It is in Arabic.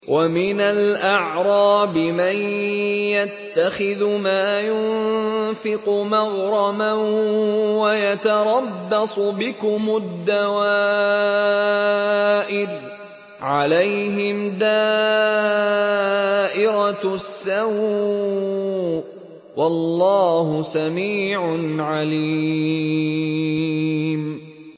وَمِنَ الْأَعْرَابِ مَن يَتَّخِذُ مَا يُنفِقُ مَغْرَمًا وَيَتَرَبَّصُ بِكُمُ الدَّوَائِرَ ۚ عَلَيْهِمْ دَائِرَةُ السَّوْءِ ۗ وَاللَّهُ سَمِيعٌ عَلِيمٌ